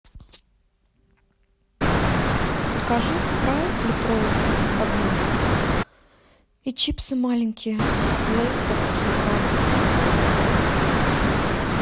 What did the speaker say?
закажи спрайт литровую одну и чипсы маленькие лейс со вкусом краба